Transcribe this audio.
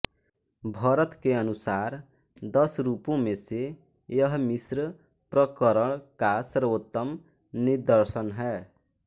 भरत के अनुसार दस रूपों में से यह मिश्र प्रकरण का सर्वोत्तम निदर्शन है